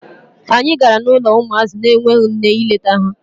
Anyị gara n'ụlọ ụmụazị na-enweghi nne ịlete ha.